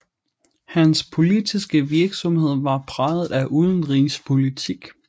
Hans politiske virksomhed var præget af udenrigspolitik